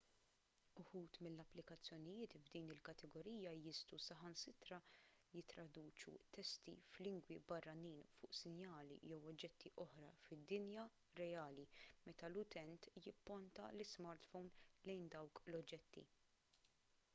uħud mill-applikazzjonijiet f'din il-kategorija jistgħu saħansitra jittraduċu testi f'lingwi barranin fuq sinjali jew oġġetti oħra fid-dinja reali meta l-utent jipponta l-ismartphone lejn dawk l-oġġetti